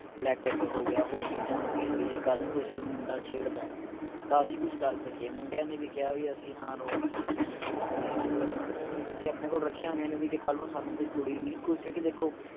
black pepper ਹੋ ਗਿਆ ਹੋਰ ਚੀਜਾਂ ਹੋ ਗਈਆਂ ਵੀ ਜੇ ਕੱਲ ਕੋਈ ਸਾਨੂੰ ਮੁੰਡਾ ਛੇੜਦੇ ਤਾਂ ਅਸੀਂ ਕੁਸ਼ ਕਰ ਸਕੀਏ ਮੁੰਡਿਆਂ ਨੇ ਵੀ ਕਿਹਾ ਵੀ ਅਸੀਂ ਹਾਂ rods ਰੱਖੀਆਂ ਨੇ sticks ਹੁੰਦੀਆਂ ਨੇ ਅੱਜਕਲ ਹਣਾ ਅਸੀਂ ਆਪਣੇ ਕੋਲ ਰੱਖੀਆਂ ਹੋਈਆਂ ਨੇ ਵੀ ਜੇ ਕੱਲ ਨੂੰ ਸਾਨੂੰ ਕੋਈ ਕੁੜੀ ਵੀ ਕੋਈ ਕਿਓਂਕਿ ਦੇਖੋ